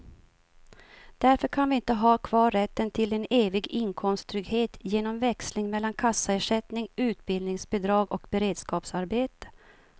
Därför kan vi inte ha kvar rätten till en evig inkomsttrygghet genom växling mellan kassaersättning, utbildningsbidrag och beredskapsarbete.